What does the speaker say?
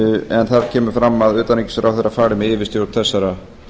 en þar kemur fram að utanríkisráðherra fari með yfirstjórn þessara